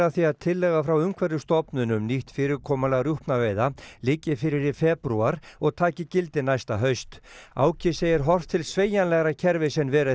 því að tillaga frá Umhverfisstofnun um nýtt fyrirkomulag rjúpnaveiða liggi fyrir í febrúar og taki gildi næsta haust Áki segir horft til sveigjanlegra kerfis en verið